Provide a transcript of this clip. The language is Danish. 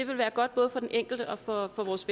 vil være godt både for den enkelte og for vores